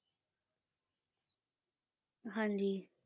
ਹਾਂਜੀ,